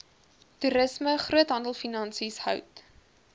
toerisme groothandelfinansies hout